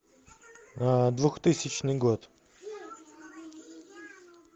двухтысячный год